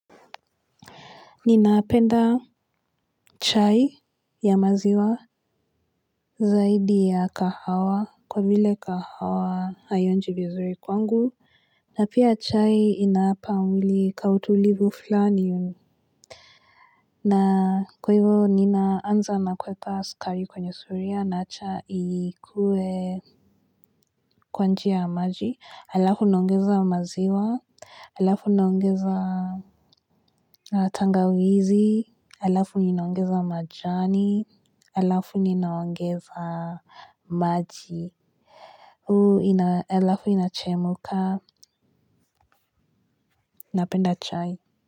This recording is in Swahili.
Napenda chai ya maziwa zaidi ya kahawa kwa vile kahawa haionji vizuri kwangu na pia chai inapa mwili ka utulivu fulani. Na kwa hivyo ninaanza na kuweka sukari kwenye sufuria na acha ikue kwanjia ya maji halafu naongeza maziwa halafu naongeza tangawizi halafu ninaongeza majani halafu ninaongeza maji halafu inachemka napenda chai.